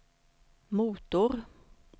motor